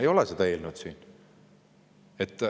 Ei ole siin sellist eelnõu.